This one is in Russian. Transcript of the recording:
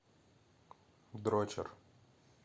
дрочер